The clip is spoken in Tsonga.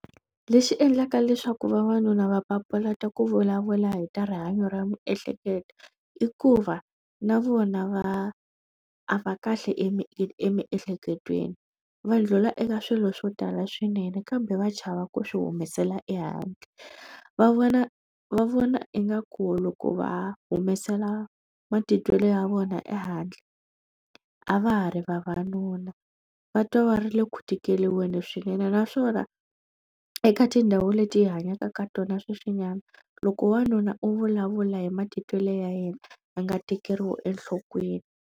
Lexi endlaka leswaku vavanuna va papalata ku vulavula hi ta rihanyo ra miehleketo i ku va na vona va a va kahle emi emi emiehleketweni va ndlhula eka swilo swo tala swinene kambe va chava ku swi humesela ehandle va vona va vona ingaku loko va humesela matitwelo ya vona ehandle a va ha ri vavanuna va twa va ri le ku tikeriweni swinene naswona eka tindhawu leti hi hanyaka ka tona sweswinyana loko wanuna u vulavula hi matitwelo ya yena a nga tekeriwi enhlokweni.